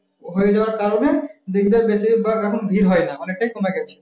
হয়ে যাওয়ার কারণে বেশিরভাগ এখন ভিড় হয় না অনেকটাই কমে গেছে